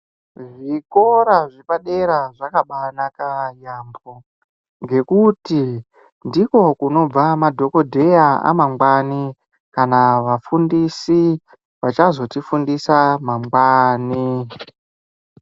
Zvikora zvepadera zvakabanaka yaamho ngekuti ndiko kunobva madhokodheya amangwani kana vafundisi vachazotifundisa mangwani